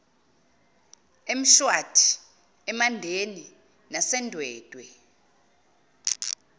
emshwathi emandeni nasendwedwe